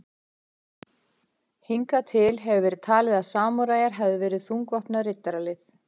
Hingað til hefur verið talið að samúræjar hefðu verið þungvopnað riddaralið.